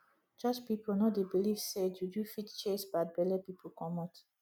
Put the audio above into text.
church pipu no dey beliv sey juju fit chase bad belle pipu comot